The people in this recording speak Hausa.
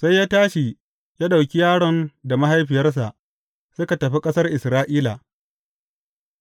Sai ya tashi, ya ɗauki yaron da mahaifiyarsa suka tafi ƙasar Isra’ila.